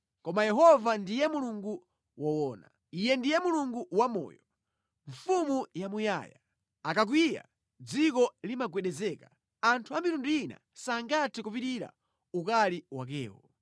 Koma Yehova ndiye Mulungu woona; Iyeyo ndiye Mulungu wamoyo, Mfumu yamuyaya. Akakwiya, dziko limagwedezeka; anthu a mitundu ina sangathe kupirira ukali wakewo.